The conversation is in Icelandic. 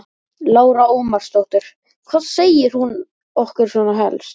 Lára Ómarsdóttir: Hvað segir hún okkur svona helst?